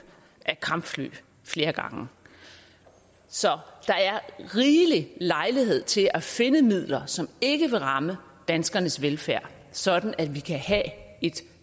af kampfly flere gange så der er rigelig lejlighed til at finde midler som ikke vil ramme danskernes velfærd sådan at vi kan have et